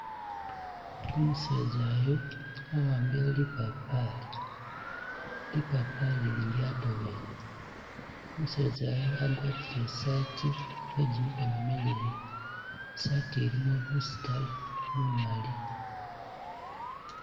Umuseza yu wa'ambile lipapali, lipapali li lyatobele, umeseza yu wagwatile i'sati ye gimikoono mileyi, i'sati ilimo busitale bumaali.